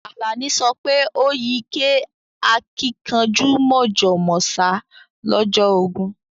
Alani sope o yí kẹ́ àkìnkanjú mọ̀jọ̀ mọ̀sá lọ́jọ́ ogún